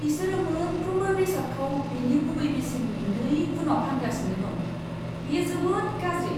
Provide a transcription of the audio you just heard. बिसोरो मोनफ्रोमबो बेसादखौ बिनि गुबै बेसेननि नैगुनआव फानगासिनो दं। बेयो जोबोद गाज्रि।